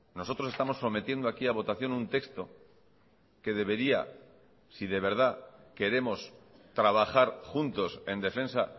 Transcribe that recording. nosotros estamos sometiendo aquí a votación un texto que debería si de verdad queremos trabajar juntos en defensa